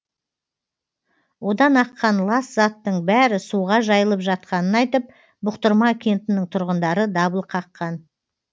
одан аққан лас заттың бәрі суға жайылып жатқанын айтып бұқтырма кентінің тұрғындары дабыл қаққан